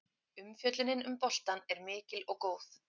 Umfjöllunin um boltann er mikil og góð.